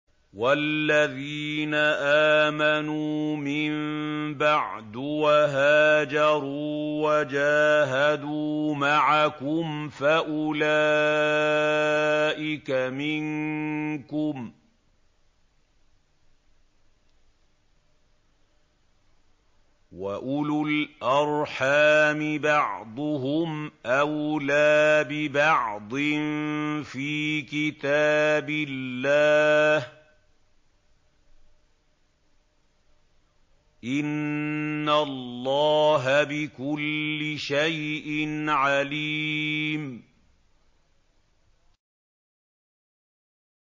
وَالَّذِينَ آمَنُوا مِن بَعْدُ وَهَاجَرُوا وَجَاهَدُوا مَعَكُمْ فَأُولَٰئِكَ مِنكُمْ ۚ وَأُولُو الْأَرْحَامِ بَعْضُهُمْ أَوْلَىٰ بِبَعْضٍ فِي كِتَابِ اللَّهِ ۗ إِنَّ اللَّهَ بِكُلِّ شَيْءٍ عَلِيمٌ